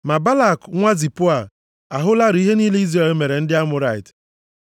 Ma Balak nwa Zipoa ahụlarị ihe niile Izrel mere ndị Amọrait.